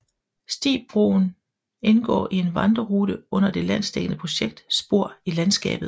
Stibroen indgår i en vandrerute under det landsdækkende projekt Spor i Landskabet